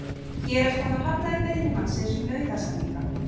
Héraðsdómur hafnaði beiðni mannsins um nauðasamninga